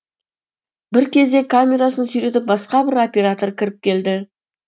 бір кезде камерасын сүйретіп басқа бір оператор кіріп келді